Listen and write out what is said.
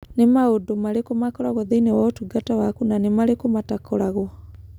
Nĩ maũndu marĩkũ makoragwo thĩinĩ wa ũtungata waku na nĩ marĩkũ matakoragwo?